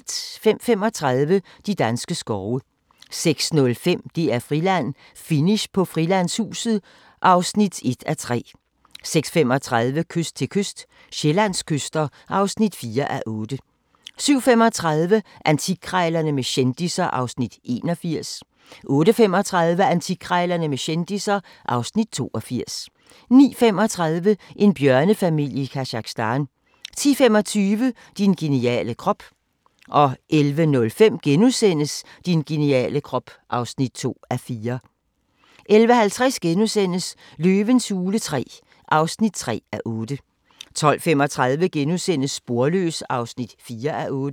05:35: De danske skove 06:05: DR-Friland: Finish på Frilandshuset (1:3) 06:35: Kyst til kyst – Sydsjællands kyster (4:8) 07:35: Antikkrejlerne med kendisser (Afs. 81) 08:35: Antikkrejlerne med kendisser (Afs. 82) 09:35: En bjørnefamilie i Kazakhstan 10:25: Din geniale krop 11:05: Din geniale krop (2:4)* 11:50: Løvens hule III (3:8)* 12:35: Sporløs (4:8)*